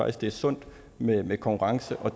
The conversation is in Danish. at det er sundt med med konkurrence og